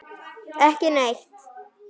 Ekki neitt